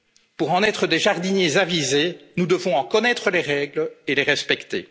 notre vie. Pour en être des jardiniers avisés, nous devons en connaître les règles et